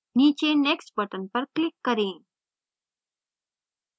नीचे next button पर click करें